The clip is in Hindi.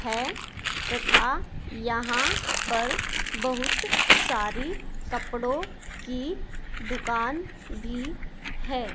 है तथा यहां पर बहुत सारी कपड़ों की दुकान भी है।